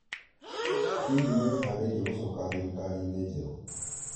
Hihi nĩ wĩharĩirie gũcoka thirikari-inĩ jerũ?